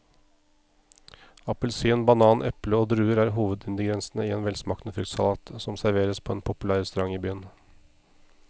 Appelsin, banan, eple og druer er hovedingredienser i en velsmakende fruktsalat som serveres på en populær restaurant i byen.